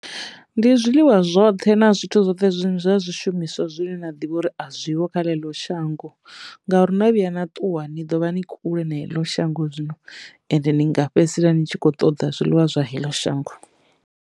Ndi zwiḽiwa zwoṱhe na zwithu zwoṱhe zwi zwa zwishumiswa zwine nda ḓivha uri a zwiho kha ḽeneḽo shango ngauri na vhuya na ṱuwa ni ḓovha ni kule na heḽo shango zwino ende ni nga fhedzisela ni tshi kho ṱoḓa zwiḽiwa zwa heḽo shango.